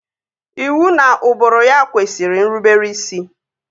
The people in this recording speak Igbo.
Iwu na ụbụrụ ya kwesịrị nrubere isi